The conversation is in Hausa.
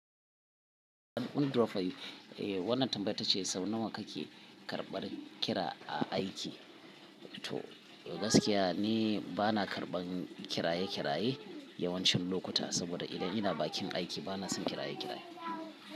Wani drop yayi, eh wannan tambaya tace sau nawa kake karɓar kira a aiki? To gaskiya ni bana karɓan kiraye kiraye yawancin lokuta saboda idan ina bakin aiki bana son kiraye kiraye.